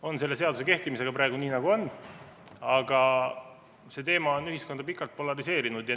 On selle seaduse kehtimisega lood praegu nagu on, aga see teema on ühiskonda pikalt polariseerinud.